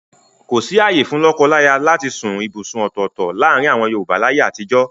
Kòsí ààyè fún lọ́kọláyà láti sún ibùsùn ọ̀tọ̀ọ̀tọ̀ láàrin àwọn Yorùbá láyé àtijọ́.